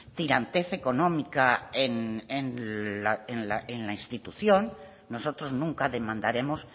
tirantez económica en la institución nosotros nunca demandaremos